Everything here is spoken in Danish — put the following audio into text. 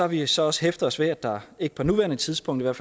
vi så også hæftet os ved at der ikke på nuværende tidspunkt er